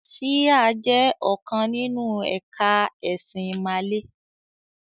“Síhà” jẹ́ ọ̀kan nínú ẹ̀ka ẹ̀sìn ìmàle.